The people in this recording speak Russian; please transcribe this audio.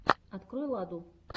открой ладу